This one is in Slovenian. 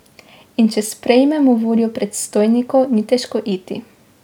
In če sprejmemo voljo predstojnikov, ni težko iti.